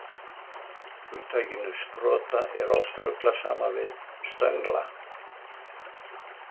Hugtakinu sprota er oft ruglað saman við stöngla.